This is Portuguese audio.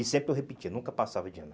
E sempre eu repetia, nunca passava de ano.